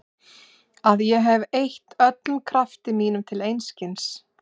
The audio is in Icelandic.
Að ég hef eytt öllum krafti mínum til einskis.